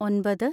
ഒമ്പത്